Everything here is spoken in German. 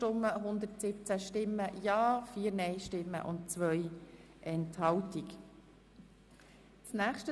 Sie haben auch dieser Abschreibung zugestimmt.